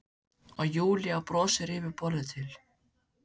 Og Júlía brosir yfir borðið til